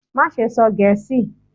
Maṣe sọ Gẹẹsi!